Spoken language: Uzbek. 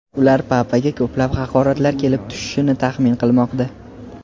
Ular papaga ko‘plab haqoratlar kelib tushishini taxmin qilmoqda.